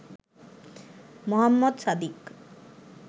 Mohammad Sadiq